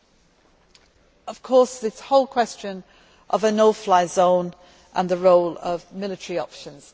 Then there is this whole question of a no fly zone and the role of military options.